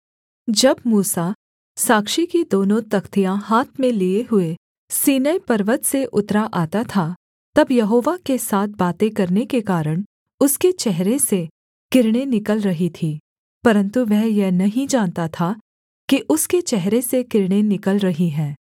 जब मूसा साक्षी की दोनों तख्तियाँ हाथ में लिये हुए सीनै पर्वत से उतरा आता था तब यहोवा के साथ बातें करने के कारण उसके चेहरे से किरणें निकल रही थीं परन्तु वह यह नहीं जानता था कि उसके चेहरे से किरणें निकल रही हैं